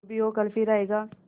जो भी हो कल फिर आएगा